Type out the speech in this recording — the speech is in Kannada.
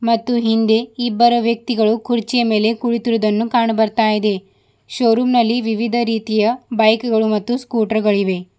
ಮತ್ತು ಹಿಂದೆ ಇಬ್ಬರು ವ್ಯಕ್ತಿಗಳು ಕುರ್ಚಿಯ ಮೇಲೆ ಕುಳಿತಿರುವುದನ್ನು ಕಾಣುಬರ್ತಾಯಿದೆ ಶೋರೂಮ್ ನಲ್ಲಿ ವಿವಿಧ ರೀತಿಯ ಬೈಕುಗಳು ಮತ್ತು ಸ್ಕೂಟರ್ ಗಳು ಇವೆ.